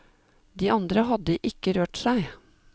De andre hadde ikke rørt seg.